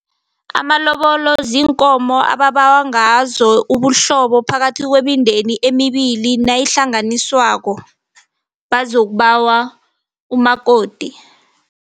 Amalobolo ziinkomo ababawa ngazo ubuhlobo, phakathi kwemindeni emibili nayihlanganisowako, bazokubawa umakoti.